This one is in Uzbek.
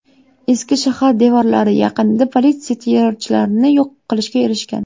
Eski shahar devorlari yaqinida politsiya terrorchilarni yo‘q qilishga erishgan.